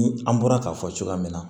Ni an bɔra k'a fɔ cogoya min na